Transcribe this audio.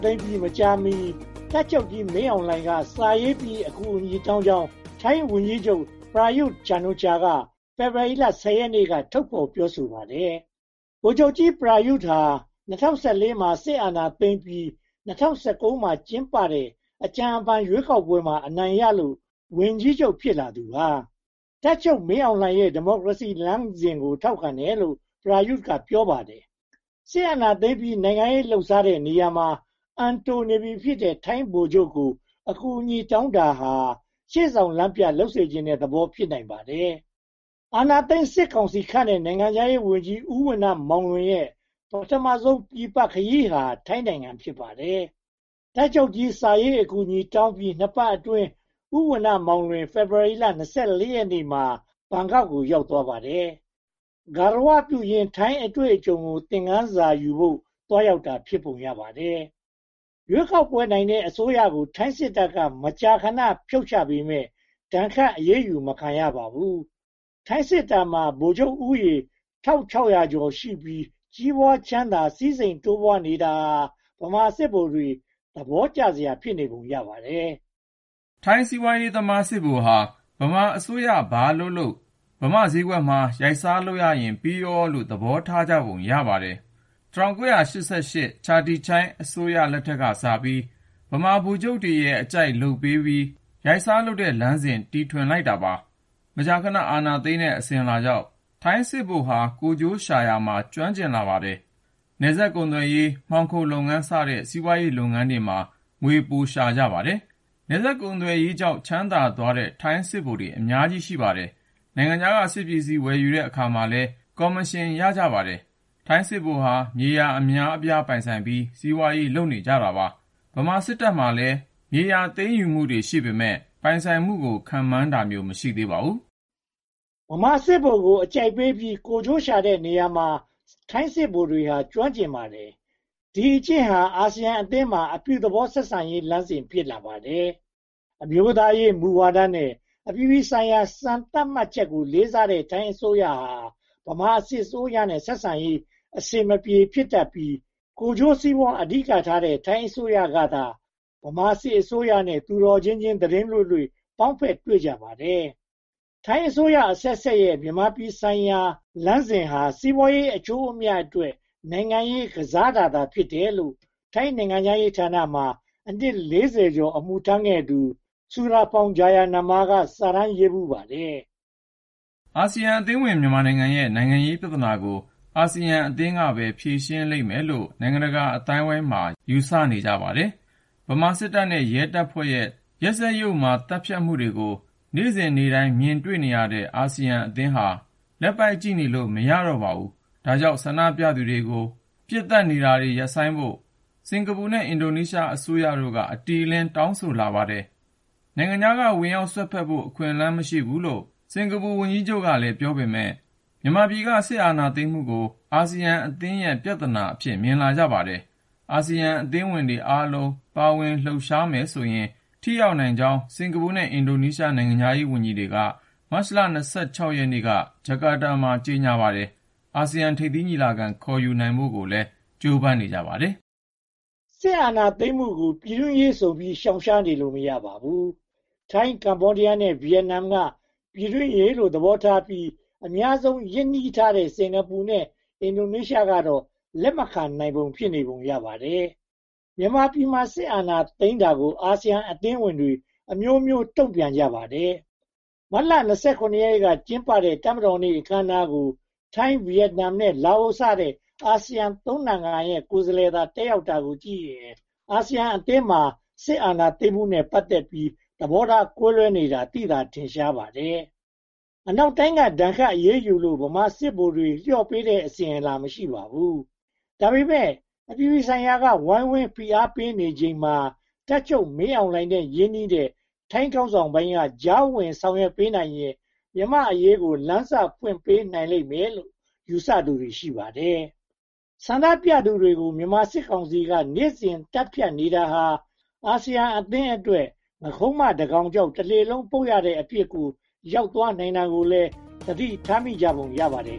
သိမ်းပြီး မကြာမီ တပ်ချုပ်ကြီးမင်းအောင်လှိုင်က စာရေးပြီး အကူအညီတောင်းကြောင်း ထိုင်းဝန်ကြီးချုပ် Prayut Chanocha က ဖေဖေါ်ဝါရီ (၁၀) ရက်နေ့က ထုတ်ဖော်ပြောဆိုပါတယ်။ ဗိုလ်ချုပ်ကြီး Prayut ဟာ ၂၀၁၄ မှာ စစ်အာဏာသိမ်းပြီး ၂၀၁၉ မှာ ကျင်းပတဲ့ အကြံအဖန် ရွေးကောက်ပွဲမှာ အနိုင်ရလို့ ဝန်ကြီးချုပ် ဖြစ်လာသူပါ။ တပ်ချုပ်မင်းအောင်လှိုင်ရဲ့ ဒီမိုကရေစီလမ်းစဉ်ကို ထောက်ခံတယ်လို့ Prayut က ပြောပါတယ်။ စစ်အာဏာသိမ်းပြီး နိုင်ငံရေးလုပ်စားတဲ့နေရာမှာ အံတိုနေပြီဖြစ်တဲ့ ထိုင်းဗိုလ်ချုပ်ကို အကူအညီတောင်းတာဟာ ရှေ့ဆောင်လမ်းပြ လုပ်စေချင်တဲ့သဘော ဖြစ်ပါတယ်။ အာဏာသိမ်းစစ်ကောင်စီခန့်တဲ့ နိုင်ငံခြားရေးဝန်ကြီး ဦးဏ္ဏမောင်လွင်ရဲ့ ပထမဦးဆုံး ပြင်ပခရီးဟာ ထိုင်းနိုင်ငံ ဖြစ်ပါတယ်။ တပ်ချုပ်ကြီး စာရေးအကူအညီတောင်းပြီး နှစ်ပတ်အတွင်း ဦးဝဏ္ဏမောင်လွင် ဖေဖေါ်ဝါရီ (၂၄) ရက်နေ့မှာ ဘန်ကောက်ကို ရောက်သွားပါတယ်။ ဂါရဝပြုရင်း ထိုင်းအတွေ့အကြုံကို သင်ခန်းစာယူဖို့ သွားရောက်တာ ဖြစ်ပုံရပါတယ်။ ရွေးကောက်ပွဲနိုင်တဲ့ အစိုးရကို ထိုင်းစစ်တပ်က မကြာခဏ ဖြုတ်ချပေမယ့် ဒဏ်ခတ်အရေးယူ မခံရပါဘူး။ ထိုင်းစစ်တပ်မှာ ဗိုလ်ချုပ်ဦးရေ (၁၆၀၀) ကျော်ရှိပြီး ကြီးပွားချမ်းသာ စည်းစိမ်တိုးပွားနေတာဟာ ဗမာစစ်ဗိုလ်တွေ သဘောကျစရာ ဖြစ်နေပုံရပါတယ်။ ထိုင်းစီးပွားရေးသမား စစ်ဗိုလ်ဟာ မြန်မာအစိုးရ ဘာလုပ်လုပ် ဗမာဈေးကွက်မှာ ရိုက်စားလုပ်ရရင် ပြီးရောလို့ သဘောထားကြပုံ ရပါတယ်။ ချာတီချိုင်းအစိုးရ (၁၉၈၈-၉၁) ကစပြီး ဗမာဗိုလ်ချုပ်ရဲ့ အကြိုက်လုပ်ပေးပြီး ရိုက်စားလုပ်တဲ့လမ်းစဉ် တည်ထွင်လိုက်တာပါပဲ။ မကြာခဏ အာဏာသိမ်းတဲ့ အစဉ်အလာကြောင့် ထိုင်းစစ်ဗိုလ်ဟာ ကိုယ်ကျိုးရှာရာမှာ ကျွမ်းကျင်ကြပါတယ်။ နယ်စပ်ကုန်သွယ်ရေး၊ မှောင်ခိုလုပ်ငန်းစတဲ့ စီးပွားရေးလုပ်ငန်းတွေမှာ ငွေပိုရှာကြပါတယ်။ နယ်စပ်ကုန်သွယ်ရေးကြောင့် ချမ်းသာသွားတဲ့ ထိုင်းစစ်ဗိုလ်ချုပ်တွေ အများကြီးပါ။ နိုင်ငံခြားက စစ်ပစ္စည်းဝယ်ယူတဲ့အခါမှာလည်း ကော်မရှင်ရကြပါတယ်။ ထိုင်းစစ်ဗိုလ်ဟာ မြေယာအများအပြား ပိုင်ဆိုင်ပြီး၊ စီးပွားရေး လုပ်နေကြပါတယ်။ ဗမာစစ်တပ်မှာလည်း မြေယာသိမ်းယူမှုတွေ ရှိပေမယ့် ပိုင်ဆိုင်မှုကို ခန့်မှန်းတာမျိုး မရှိသေးပါဘူး။ ဗမာစစ်ဗိုလ်ကို အကြိုက်ပေးပြီး ကိုယ်ကျိုးရှာတဲ့နေရာမှာ ထိုင်းစစ်ဗိုလ်တွေက ကျွမ်းကျင်ပါတယ်။ ဒီအကျင့်ဟာ အာဆီယံအသင်းမှာ အပြုသဘောဆက်ဆံရေးလမ်းစဉ် ဖြစ်လာပါတယ်။ အမျိုးသားရေးမူဝါဒနဲ့ အပြည်ပြည်ဆိုင်ရာ စံသတ်မှတ်ချက်ကို လေးစားတဲ့ ထိုင်းအစိုးရဟာ ဗမာစစ်အစိုးရနဲ့ ဆက်ဆံရေး အဆင်မပြေ ဖြစ်တတ်ပြီး၊ ကိုယ်ကျိုးစီးပွားအဓိကထားတဲ့ ထိုင်းအစိုးရကသာ ဗမာစစ်အစိုးရနဲ့ သူတော်ချင်းချင်း သီတင်းလွေ့လွေ့ ပေါင်းဖက်တွေ့ကြပါတယ်။ ထိုင်းအစိုးရအဆက်ဆက်ရဲ့ မြန်မာပြည်ဆိုင်ရာလမ်းစဉ်ဟာ စီးပွားရေးအကျိုးအမြတ်အတွက် နိုင်ငံရေးကစားတာသာ ဖြစ်တယ်လို့ ထိုင်းနိုင်ငံခြားရေးဌာနမှာ အနှစ် (၄၀) ကျော် အမှုထမ်းခဲ့တဲ့ Surapong Jayanama က စာတမ်းရေးဖူးပါတယ်။ အာဆီယံအသင်းဝင် မြန်မာနိုင်ငံရဲ့ နိုင်ငံရေးပြဿနာကို အာဆီယံအသင်းကပဲ ဖြေရှင်းနိုင်လိမ့်မယ်လို့ နိုင်ငံတကာအသိုင်းအဝိုင်းမှာ ယူဆနေကြပါတယ်။ ဗမာစစ်တပ်နဲ့ ရဲတပ်ဖွဲ့ရဲ့ လူသတ်ပွဲနဲ့ ရက်စက်ယုတ်မာမှုတွေကို နေ့စဉ်နေ့တိုင်း မြင်တွေ့နေရတဲ့ အာဆီယံအသင်းဟာ လက်ပိုက်ကြည့်နေလို့မရတော့ပါဘူး။ ဒါကြောင့် ဆန္ဒပြနေသူတွေကို ပစ်သတ်နေတာ ရပ်ဆိုင်းဖို့ စင်္ကာပူနဲ့ အင်ဒိုနီးရှားအစိုးရတို့က အတိအလင်း တောင်းဆိုလာကြပါတယ်။ နိုင်ငံခြားက ဝင်ရောက်စွက်ဖက်ဖို့ အခွင့်အလမ်း မရှိဘူးလို့ စင်္ကာပူဝန်ကြီးချုပ်က ပြောပေမယ့် မြန်မာပြည်က စစ်အာဏာသိမ်းမှုကို အာဆီယံအသင်းရဲ့ ပြဿနာအဖြစ် မြင်ကြပါတယ်။ အာဆီယံအသင်းဝင်တွေ အားလုံးပါဝင်လှုပ်ရှားမယ်ဆိုရင် ထိရောက်နိုင်ကြောင်း စင်္ကာပူနဲ့ အင်ဒိုနေရှား နိုင်ငံခြားရေးဝန်ကြီးဌာနတွေ မတ်လ (၂၆) ရက်နေ့က ဂျကာတားမှာ ကြေညာပါတယ်။ အာဆီယံထိပ်သီးညီလာခံ ခေါ်ယူနိုင်ဖို့လည်း ကြိုးပမ်းနေကြပါတယ်။ စစ်အာဏာသိမ်းမှုကို ပြည်တွင်းရေးဆိုပြီး ရှောင်နေလို့ မရပါဘူး။ ထိုင်း၊ ကမ္ဘောဒီယားနဲ့ ဗိယက်နမ်က ပြည်တွင်းရေးလို့ သဘောထားပြီး အများဆုံး ရင်းနှီးထားတဲ့ စင်္ကာပူနဲ့ အင်ဒိုနေရှားကတော့ လက်မခံနိုင်ဘဲ ဖြစ်နေပုံရပါတယ်။ မြန်မာပြည်မှာ စစ်အာဏာသိမ်းတာကို အာဆီယံအသင်းဝင်တွေက အမျိုးမျိုးတုံ့ပြန်ကြပါတယ်။ မတ်လ (၂၇) ရက်နေ့က ကျင်းပခဲ့တဲ့ တပ်မတော်နေ့ အခမ်းအနားကို ထိုင်း၊ ဗိယက်နမ်နဲ့ လာအိုစတဲ့ အာဆီယံသုံးနိုင်ငံရဲ့ ကိုယ်စားလှယ်သာ တက်ရောက်တာကိုကြည့်ရင် အာဆီယံအသင်းမှာ စစ်အာဏာသိမ်းမှုနဲ့ ပတ်သက်ပြီး သဘောထားကွဲပြားနေတာ သိသာထင်ရှားနေပါတယ်။ အနောက်တိုင်းက ဒဏ်ခတ်အရေးယူလို့ ဗမာစစ်ဗိုလ်တွေ လျော့ပေးတဲ့ အစဉ်အလာ မရှိသေးပါဘူး။ ဒါပေမဲ့ အပြည်ပြည်ဆိုင်ရာက ဝိုင်းဝန်းဖိအားပေးနေချိန်မှာ တပ်ချုပ်မင်းအောင်လှိုင်နဲ့ ရင်းနှီးတဲ့ ထိုင်းခေါင်းဆောင်ပိုင်းက ကြားဝင်ဆောင်ရွက်နိုင်ရန် မြန်မာ့အရေးကို လမ်းစဖွင့်ပေးနိုင်လိမ့်မယ်လို့ ယူဆကြသူတွေ ရှိပါတယ်။ ဆန္ဒပြသူတွေကို မြန်မာစစ်ကောင်စီက နေ့စဉ်သတ်ဖြတ်နေတာဟာ အာဆီယံအသင်းအတွက် “ငါးခုံးမတကောင်ကြောင့် တလှေလုံးပုပ်” ရတဲ့အဖြစ်ကို ရောက်သွားနိုင်တာကိုလည်း သတိထားမိကြပုံ ရပါတယ်